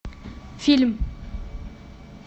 фильм